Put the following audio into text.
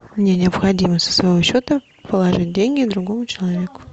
мне необходимо со своего счета положить деньги другому человеку